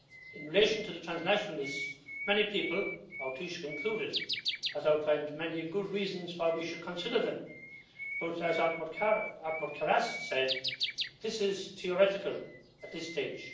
In relation to the transnational lists, many people, our Taoiseach included, have outlined many good reasons why we should consider them but, as Othmar Karas said, this is theoretical at this stage.